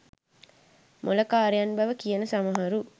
මොළකාරයන් බව කියන සමහරු